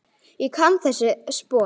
Ég kann ekki þessi spor.